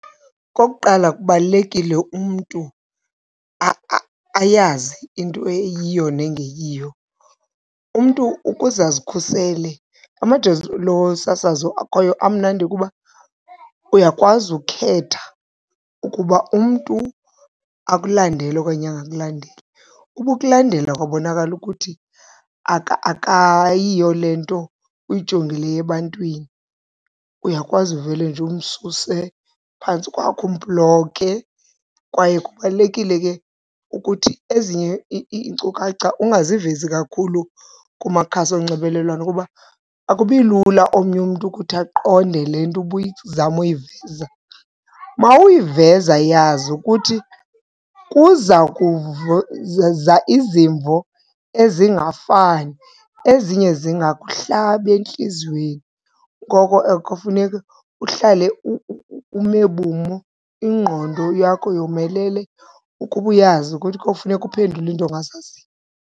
Okokuqala, kubalulekile umntu ayazi into eyiyo nengeyiyo. Umntu ukuze azikhusele, amajelo osasazo akhoyo amnandi kuba uyakwazi ukhetha ukuba umntu akulandele okanye angakulandeli. Uba ukulandele kwabonakala ukuthi akayiyo le nto uyijongileyo ebantwini uyakwazi uvele nje umsuse phantsi kwakho umbhloke. Kwaye kubalulekile ke ukuthi ezinye iinkcukacha ungazivezi kakhulu kumakhasi onxibelelwano kuba akubi lula omnye umntu ukuthi aqonde le nto ubuyizama uyiveza. Uma uyiveza yazi ukuthi kuza izimvo ezingafani ezinye zingakuhlaba entliziyweni, ngoko ke kufuneka uhlale ume bumo ingqondo yakho yomelele ukuba uyazi ukuthi kofuneka uphendule iinto ongazaziyo.